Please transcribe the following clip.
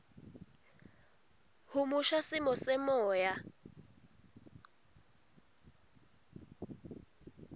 humusha simo semoya